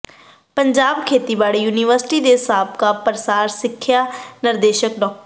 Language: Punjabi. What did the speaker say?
ਪੰਜਾਬ ਖੇਤੀਬਾੜੀ ਯੂਨੀਵਰਸਿਟੀ ਦੇ ਸਾਬਕਾ ਪਸਾਰ ਸਿੱਖਿਆ ਨਿਰਦੇਸ਼ਕ ਡਾ